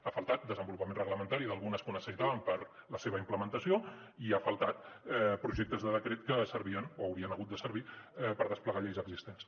ha faltat desenvolupament reglamentari d’algunes que ho necessitaven per a la seva implementació i han faltat projectes de decret que servien o haurien hagut de servir per desplegar lleis existents